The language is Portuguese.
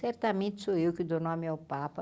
Certamente sou eu que dou nome ao Papa.